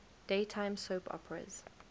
daytime soap operas